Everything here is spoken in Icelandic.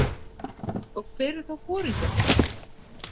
Og hver er þá foringi okkar?